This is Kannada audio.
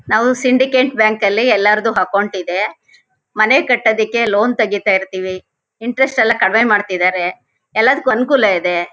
ನಾವು ಸಿಂಡಿಕೇಟ್ ಬ್ಯಾಂಕ್ ಅಲ್ಲಿ ಎಲ್ಲಾರ್ದು ಅಕೌಂಟ್ ಇದೆ. ಮನೆ ಕಟ್ಟೋದಿಕ್ಕೇ ಲೋನ್ ತೆಗಿತಾ ಇರ್ತಿವಿ. ಇಂಟರೆಸ್ಟ್ ಎಲ್ಲಾ ಕಡಿಮೆ ಮಾಡ್ತಾ ಇದರೆ ಎಲ್ಲದಕ್ಕೂ ಅನುಕೂಲ ಇದೆ.